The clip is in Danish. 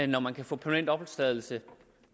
når man kan få permanent opholdstilladelse